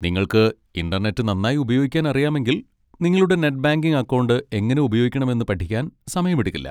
നിങ്ങൾക്ക് ഇന്റർനെറ്റ് നന്നായി ഉപയോഗിക്കാൻ അറിയാമെങ്കിൽ, നിങ്ങളുടെ നെറ്റ് ബാങ്കിംഗ് അക്കൗണ്ട് എങ്ങനെ ഉപയോഗിക്കണമെന്ന് പഠിക്കാൻ സമയമെടുക്കില്ല.